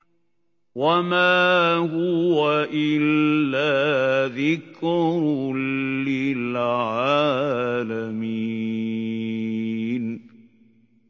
وَمَا هُوَ إِلَّا ذِكْرٌ لِّلْعَالَمِينَ